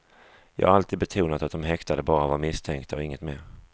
Jag har alltid betonat att de häktade bara var misstänkta och inget mer.